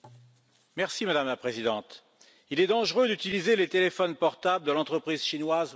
Madame la Présidente, il est dangereux d'utiliser les téléphones portables de l'entreprise chinoise Huawei.